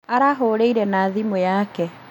Arahũrĩire na thimũ yake?